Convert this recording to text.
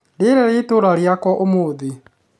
rĩera rĩa itũũra rĩakwa ũmũthĩ